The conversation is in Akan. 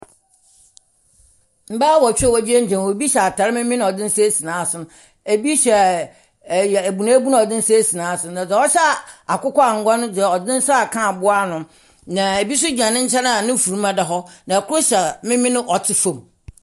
Mmaa awotwe a wogyinagyina hɔ. Obi hyɛ ataade memen na ɔde ne nsa asi n'aso. Ebi hyɛ abunuabunu a ɔde ne nsa asi naso. Na deɛ ɔhyɛ akɔkɔangwa no deɛ ɔde ne nsa aka aboano. Na ebi gyina ne nkyɛn a ne funuma da hɔ. Na ɛkoro hyɛ memene a ɔte fɔm.